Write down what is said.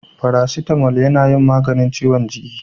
Farasitamo na yin maganin ciwon jiki